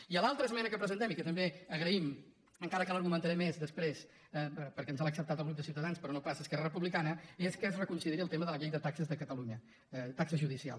i l’altra esmena que presentem i que també agraïm encara que l’argumentaré més després perquè ens l’ha acceptat el grup de ciutadans però no pas esquerra republicana és que es reconsideri el tema de la llei de taxes de catalunya taxes judicials